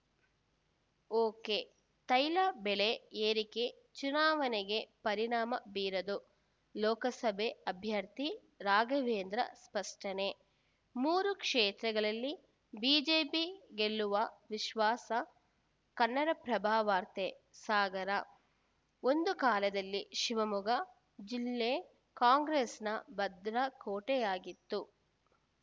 ಒಕೆತೈಲ ಬೆಲೆ ಏರಿಕೆ ಚುನಾವಣೆಗೆ ಪರಿಣಾಮ ಬೀರದು ಲೋಕಸಭೆ ಅಭ್ಯರ್ಥಿ ರಾಘವೇಂದ್ರ ಸ್ಪಷ್ಟನೆ ಮೂರೂ ಕ್ಷೇತ್ರಗಳಲ್ಲಿ ಬಿಜೆಪಿ ಗೆಲ್ಲುವ ವಿಶ್ವಾಸ ಕನ್ನಡಪ್ರಭ ವಾರ್ತೆ ಸಾಗರ ಒಂದು ಕಾಲದಲ್ಲಿ ಶಿವಮೊಗ್ಗ ಜಿಲ್ಲೆ ಕಾಂಗ್ರೆಸ್‌ನ ಭದ್ರಕೋಟೆಯಾಗಿತ್ತು